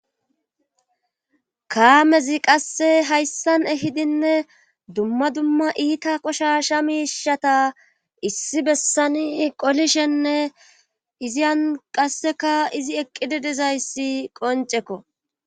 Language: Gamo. Kaamezi qasse hayssan ehidinne dumma dumma iita qoshsha miishata issi besani qolishenne izi an qassekka izi eqqidi dizayssa qonccekko.